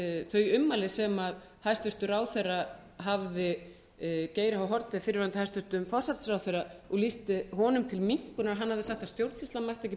þau ummæli sem hæstvirtur ráðherra hafði um geir h haarde hæstvirtur forsætisráðherra og lýsti honum til minnkunar að hann hafi sagt að stjórnsýslan mætti ekki